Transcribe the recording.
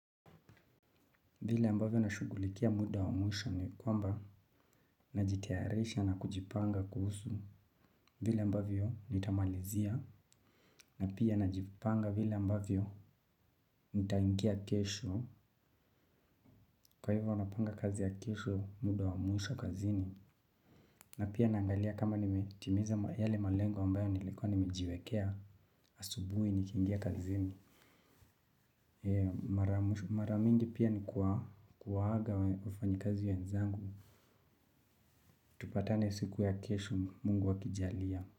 Vile ambavyo na shughulikia muda wa mwisho ni kwamba najitayarisha na kujipanga kuhusu. Vila ambavyo nitamalizia. Na pia najipanga vile ambavyo nitaingia kesho. Kwa hivo napanga kazi ya kesho muda wa mwisho kazini. Na pia naangalia kama nimetimiza yale malengo ambayo nilikuwa nimejiwekea asubuhi nikiingia kazini. Maramingi pia ni kuwaaga wafanyikazi wenzangu. Tupatane siku ya kesho mungu akijalia.